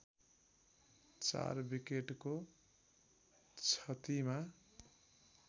४ विकेटको क्षतिमा